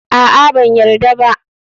A'a, ba a yarda ba.